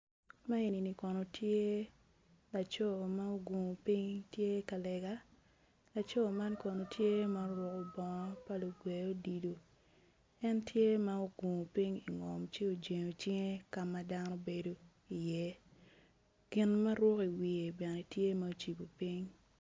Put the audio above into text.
Man eni kono tye laco ma ogungo piny tye ka lega laco man kono tye ma oruko bongo pa lugwe odilo en tye ma ogungo piny ingom ci ojengo cinge ka ma dano bedo iye gin ma ruko iwiye bene tye ma ocibo piny.